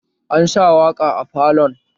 Ansa waƙa a falon